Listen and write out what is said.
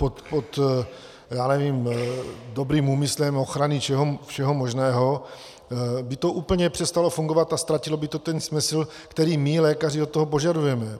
Pod, já nevím, dobrým úmyslem ochrany všeho možného by to úplně přestalo fungovat a ztratilo by to ten smysl, který my lékaři od toho požadujeme.